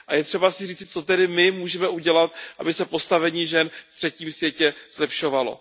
A je třeba si říci, co tedy my můžeme udělat, aby se postavení žen ve třetím světě zlepšovalo.